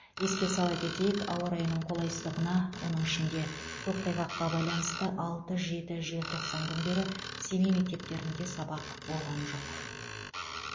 еске сала кетейік ауа райының қолайсыздығына оның ішінде көктайғаққа байланысты алты жеті желтоқсан күндері семей мектептерінде сабақ болған жоқ